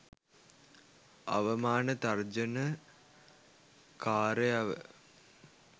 අවමාන තර්ජන කාරයව